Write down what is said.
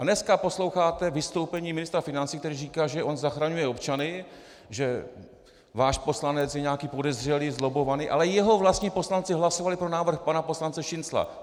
A dnes posloucháte vystoupení ministra financí, který říká, že on zachraňuje občany, že váš poslanec je nějaký podezřelý, zlobbovaný, ale jeho vlastní poslanci hlasovali pro návrh pana poslance Šincla.